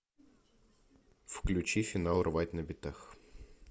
включи финал рвать на битах